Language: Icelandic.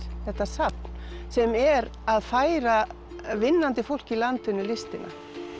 þetta safn sem er að færa vinnandi fólki í landinu listina